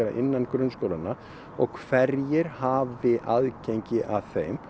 innan grunnskólanna og hverjir hafa aðgengi að þeim